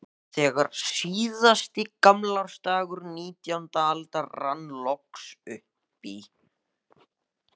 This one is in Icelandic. Þegar síðasti gamlársdagur nítjándu aldar rann loks upp í